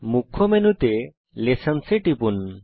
মুখ্য মেনুতে লেসনস এ টিপুন